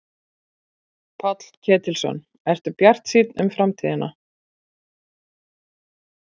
Páll Ketilsson: Ertu bjartsýnn um framtíðina?